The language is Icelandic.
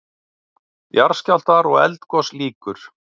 JARÐSKJÁLFTAR OG ELDGOS LÝKUR